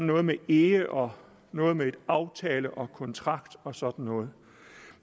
noget med ehe og noget med aftale og kontrakt og sådan noget